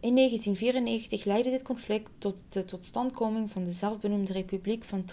in 1994 leidde dit conflict tot de totstandkoming van de zelfbenoemde republiek van